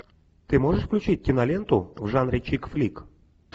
ты можешь включить киноленту в жанре чик флик